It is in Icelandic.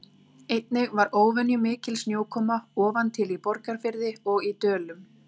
Einnig var óvenjumikil snjókoma ofan til í Borgarfirði og í Dölum.